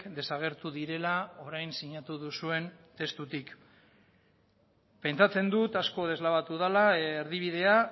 desagertu direla orain sinatu duzuen testutik pentsatzen dut asko deslabatu dela erdibidea